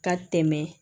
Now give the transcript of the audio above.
Ka tɛmɛ